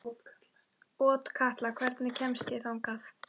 Otkatla, hvernig kemst ég þangað?